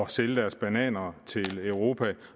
sælge deres bananer til europa